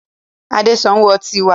Adé ń sanwó ọtí wá.